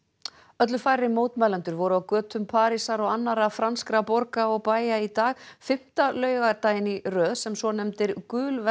öllu færri mótmælendur voru á götum Parísar og annarra franskra borga og bæja í dag fimmta laugardaginn í röð sem svonefndir